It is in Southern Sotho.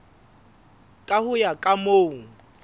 ka ho ya ka moo